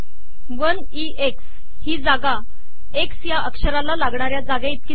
one E X ही जागा X या अक्षराला लागणाऱ्या जागेइतकी आहे